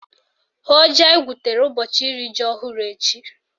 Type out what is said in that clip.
Hụọ ji anyị gwutere ụbọchị iri ji ọhụrụ echi!